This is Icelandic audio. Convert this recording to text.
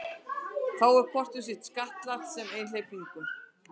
Er þá hvort um sig skattlagt sem einhleypingur.